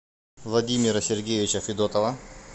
владимира сергеевича федотова